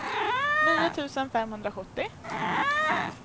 nio tusen femhundrasjuttio